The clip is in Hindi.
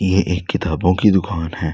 ये एक किताबों की दुकान हैं।